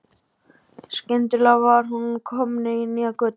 Þá skyndilega var hún komin inn í nýja götu.